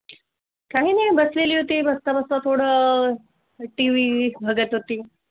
काहींनी बस लेली होती बसता बसता थोडं अह TV बघत होती.